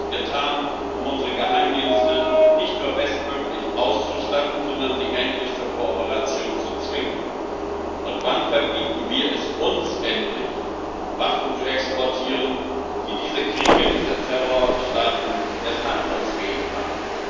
Und was wird getan, um unsere Geheimdienste nicht nur bestmöglich auszustatten, sondern sie endlich zur Kooperation zu zwingen? Und wann verbieten wir es uns endlich, Waffen zu exportieren, die diese Kriege, diese Terrorstaaten erst handlungsfähig